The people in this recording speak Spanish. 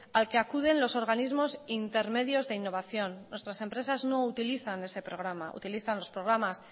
al que acuden los organismos intermedios de innovación nuestras empresas no utilizan ese programa utilizan los programas